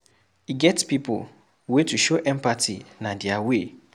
E get pipu wey to show empathy na their way.